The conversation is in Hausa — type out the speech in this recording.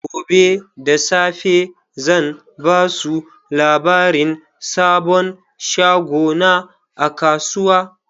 Gobe da safe zan ba su labarin sabon shagona a kasuwa.